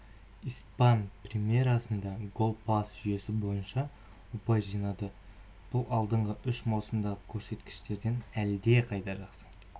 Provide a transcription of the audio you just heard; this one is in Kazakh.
испан примерасында гол пас жүйесі бойынша ұпай жинады бұл алдыңғы үш маусымдағы көрсеткіштерден әлдеқайда жақсы